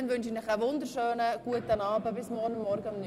Ich wünsche Ihnen einen wunderschönen Abend, bis morgen um 9.00 Uhr.